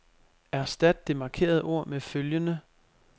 Erstat det markerede ord med følgende.